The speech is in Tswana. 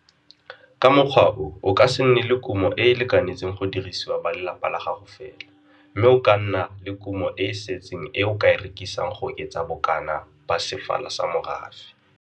Ka mokgwa o o ka se nne le kumo e e lekanetseng go dirisiwa ba lelapa la gago fela, mme o ka nna le kumo e e setseng e o ka e rekisang go oketsa bokana ba sefala sa morafe.